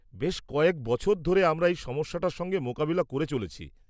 -বেশ কয়েক বছর ধরে আমরা এই সমস্যাটার সঙ্গে মোকাবিলা করে চলেছি।